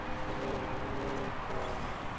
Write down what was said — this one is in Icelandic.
Við erum mjög góðar.